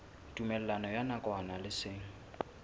tumellano ya nakwana le seng